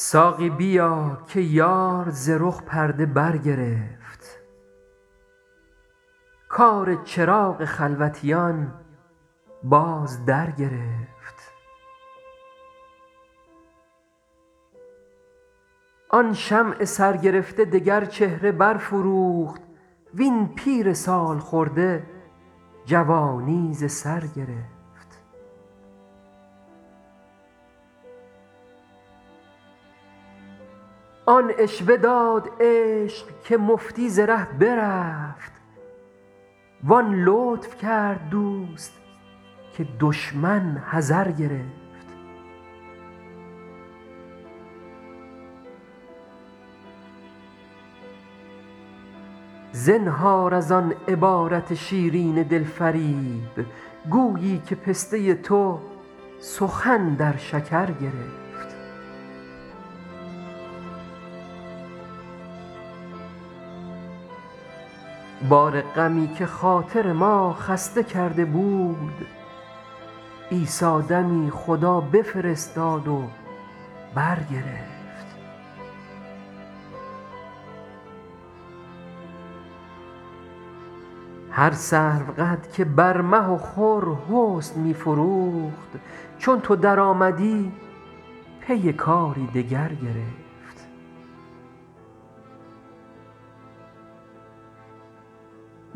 ساقی بیا که یار ز رخ پرده برگرفت کار چراغ خلوتیان باز درگرفت آن شمع سرگرفته دگر چهره برفروخت وین پیر سال خورده جوانی ز سر گرفت آن عشوه داد عشق که مفتی ز ره برفت وان لطف کرد دوست که دشمن حذر گرفت زنهار از آن عبارت شیرین دل فریب گویی که پسته تو سخن در شکر گرفت بار غمی که خاطر ما خسته کرده بود عیسی دمی خدا بفرستاد و برگرفت هر سروقد که بر مه و خور حسن می فروخت چون تو درآمدی پی کاری دگر گرفت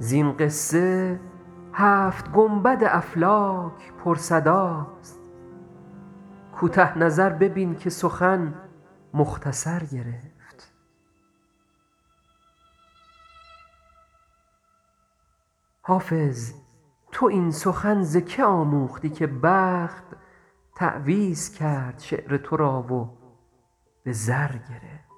زین قصه هفت گنبد افلاک پرصداست کوته نظر ببین که سخن مختصر گرفت حافظ تو این سخن ز که آموختی که بخت تعویذ کرد شعر تو را و به زر گرفت